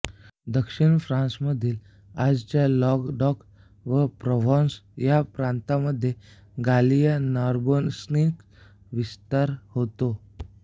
दक्षिण फ्रान्समधील आजच्या लॉंगडॉक व प्रव्हॉन्स या प्रांतांमध्ये गालिया नार्बोनेन्सिसचा विस्तार होता